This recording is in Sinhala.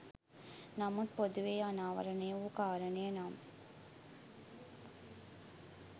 නමුත් පොදුවේ අනාවරණය වූ කාරණය නම්